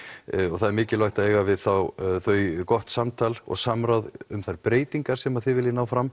og það er mikilvægt að eiga við þau gott samtal og samráð um þær breytingar sem þið viljið ná fram